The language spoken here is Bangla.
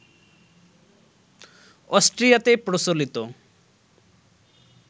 অস্ট্রিয়াতে প্রচলিত